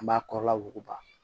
An b'a kɔrɔla wuguba